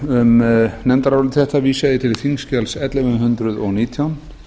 um nefndarálit þetta vísa ég til þingskjals ellefu hundruð og nítján